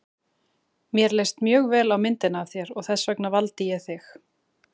Mér leist mjög vel á myndina af þér og þess vegna valdi ég þig.